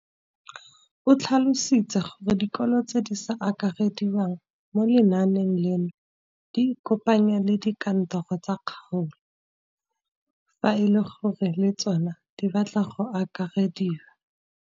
O tlhalositse gore dikolo tse di sa akarediwang mo lenaaneng leno di ikopanye le dikantoro tsa kgaolo fa e le gore le tsona di batla go akarediwa.